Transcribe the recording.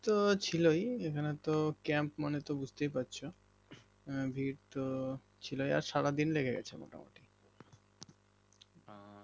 তো ছিলই ওখানে তো camp মানে বুজতেই পারছো ভিড় তো ছিল আর সারাদিন লেগে গেছিলো মোটামোটি